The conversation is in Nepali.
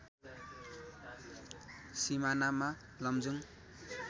सिमानामा लमजुङ